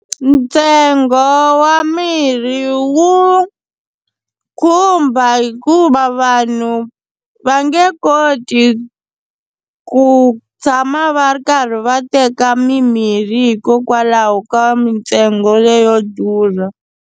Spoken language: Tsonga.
Ntsengo wa mirhi wu khumba hikuva vanhu va nge koti ku tshama va ri karhi va teka mimirhi hikokwalaho ka mintsengo leyo durha.